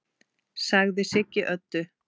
sagði Siggi Öddu.